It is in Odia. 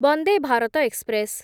ବନ୍ଦେ ଭାରତ ଏକ୍ସପ୍ରେସ୍